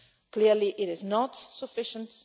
Clearly it is not sufficient.